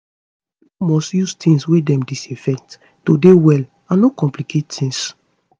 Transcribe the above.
pipo must use tings wey dem disinfect to dey well and no complicate tings